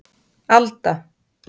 Alda